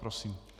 Prosím.